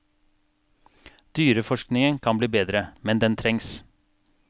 Dyreforskningen kan bli bedre, men den trengs.